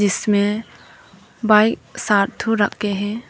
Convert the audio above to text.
इसमें बाइक सात ठो रखे हैं।